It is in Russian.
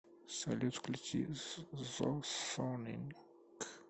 салют включи созоник